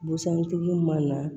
Busan tigi mana na